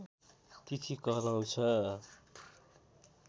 तिथि कहलाउँछ